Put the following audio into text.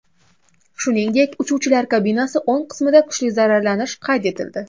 Shuningdek, uchuvchilar kabinasi o‘ng qismida kuchli zararlanish qayd etildi.